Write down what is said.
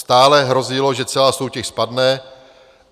Stále hrozilo, že celá soutěž spadne.